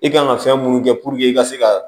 I kan ka fɛn mun kɛ i ka se ka